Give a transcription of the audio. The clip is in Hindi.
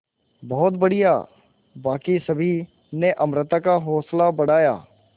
बहुत बढ़िया बाकी सभी ने अमृता का हौसला बढ़ाया